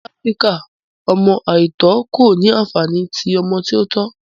Ni Afirika, ọmọ aitọ ko ni anfani ti ọmọ ti o tọ